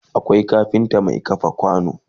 Akwai kafinta Mai kafa kwano